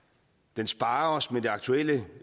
den sparer os med det aktuelle